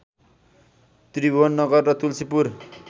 त्रिभुवननगर र तुल्सीपुर